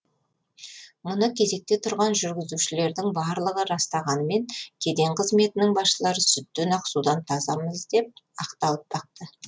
мұны кезекте тұрған жүргізушілердің барлығы растағанымен кеден қызметінің басшылары сүттен ақ судан тазамыз деп ақталып бақты